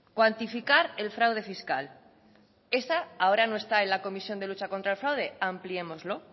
cuantificar el fraude fiscal esa ahora no está en la comisión de lucha contra el fraude ampliémoslo